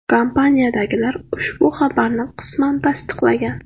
Kompaniyadagilar ushbu xabaarni qisman tasdiqlagan.